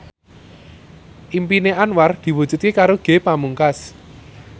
impine Anwar diwujudke karo Ge Pamungkas